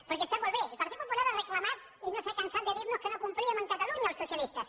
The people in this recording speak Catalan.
perquè està molt bé el partit popular ha reclamat i no s’ha cansat de dir·nos que no complíem amb catalunya els socialistes